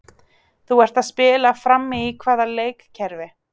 Þú ert að spila frammi í hvaða leikkerfi?